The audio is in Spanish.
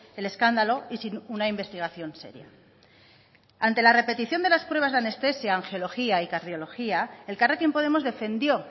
el escándalo y sin una investigación seria ante la repetición de las pruebas de anestesia angiología y cardiología elkarrekin podemos defendió